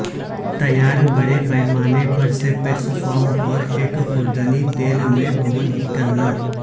تیار بڑے پیمانے پر سے پیٹس فارم اور ایک خوردنی تیل میں بھون ان کرنا